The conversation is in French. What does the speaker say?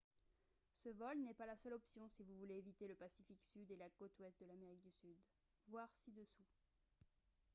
ce vol n’est pas la seule option si vous voulez éviter le pacifique sud et la côte ouest de l’amérique du sud. voir ci-dessous